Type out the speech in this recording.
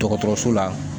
Dɔgɔtɔrɔso la